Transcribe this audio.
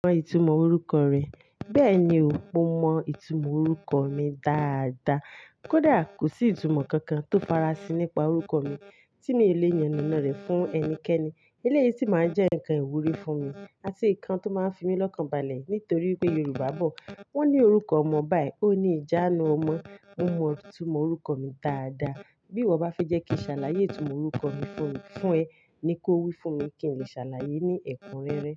Mọ ìtumọ̀ orúkọ rẹ, bẹ́ẹ̀ ni o mo mọ ìtumọ̀ orúkọ mi dáadáa. Kódà kò sí ìtumọ̀ kankan tó fara sín nípa orúkọ mi tí mi ò le yàn naná rẹ̀ fún ẹnikẹ́ni. Eléyìí sì máa jẹ́ ǹkan ìwúrí fún mi àti ǹkan tó máa ń fi mí lọ́kànbalẹ̀ nítorí pé Yorùbá bọ̀ wọ́n ní orúkọ ọmọ báyìí, ó ní ìjánu ọmọ. Mo mọ ìtumọ̀ orúkọ mi dáadáa, bí ìwọ bá fi jẹ́ kí òṣàlàyé ìtumọ̀ orúkọ mi fún ẹ ni kó wí fún mi kí n lè ṣàlàyé ní ẹ̀kúnrẹ́rẹ́